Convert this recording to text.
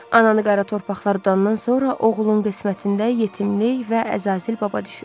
Ananı qara torpaqlar udandan sonra oğlun qismətində yetimlik və Əzazil baba düşür.